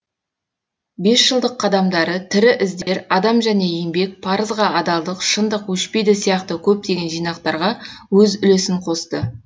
бесжылдық қадамдары тірі іздер адам және еңбек парызға адалдық шындық өшпейді сияқты көптеген жинақтарға өз үлесін қосты